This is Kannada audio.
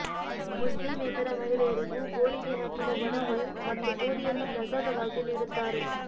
ಮುಸ್ಲಿಮೇತರ ಮಹಿಳೆಯರಿಗೂ ಗೋರಿಗೆ ಹಾಕಿದ ಒಣ ಹೂ ಮತ್ತು ಬೂದಿಯನ್ನು ಪ್ರಸಾದವಾಗಿ ನೀಡುತ್ತಾರೆ